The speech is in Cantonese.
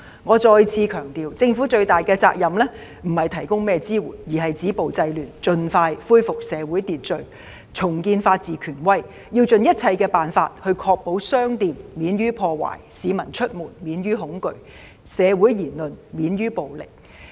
我再次強調，政府最大的責任不是提供甚麼支援，而是止暴制亂，盡快恢復社會秩序，重建法治權威，要盡一切辦法，確保商店免遭破壞，市民出門免於恐懼，社會言論免受暴力威脅。